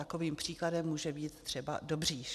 Takovým příkladem může být třeba Dobříš.